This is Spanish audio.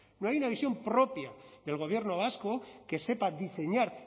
no hay una visión propia del gobierno vasco que sepa diseñar